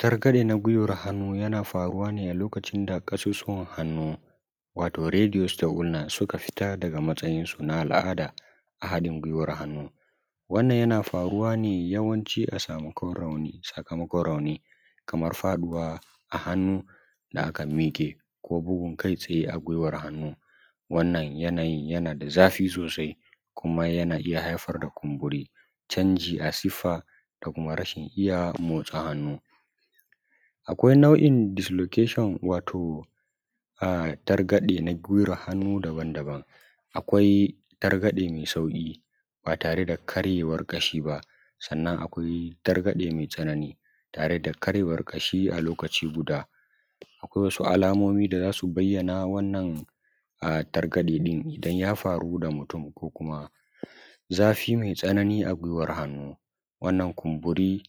. targaɗe na gwiwan hannu yana faruwa ne a lokacin da kasusuwan hannu wato “radiostognance” suka fita daga matsayinsu na al`ada a haɗin gwiwan hannu wannan yana faruwa ne yawanci a samakon sakamakon rauni kaman faɗawa a hannu da aka mike ko bugun kai tsaye a gwiwar hannu wannan yanayin yana da zafi sosai kuma yana iya haifar da kumburi canjicl a siffa da kuma rashin iya motsa hannu akwai nau`in “dislocation” wato targaɗe na giwar hannu daban daban akwai targaɗe mai sauƙi: ba tare da karyewan ƙashi ba wannan akwai targaɗe mai tsanani tare da karyewan ƙashi a lokaci guda akwai wasu alamomi da zasu bayyana wannan a targaden ɗin idan ya faru da mutum ko kuma zafi mai tsanani a gwiwar hannu wannan kumburi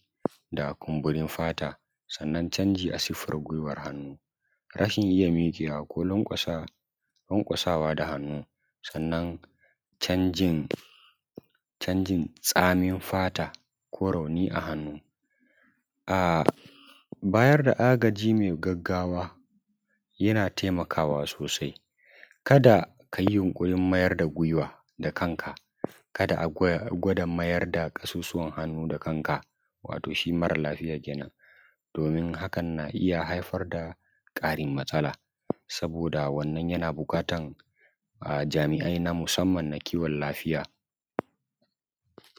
da kumburin fata sannan canji a siffar gwiwar hannu rashin iya miƙewa ko lanƙwasa lanƙwasawa da hannu sannan canjin canjin tsamin fata ko rauni a hannu a bayar da agaji mai gaggawa yana taimakawa sosai kada ka yi yunkurin mayar da gwiwa da kanka kada a gwada mayar da kusurwan hannu da kanka wato shi marar lafiya kenan domin hakan na iya haifar da ƙarin matsala saboda wannan yana buƙatar jami`ai na musamman na kiwon lafiya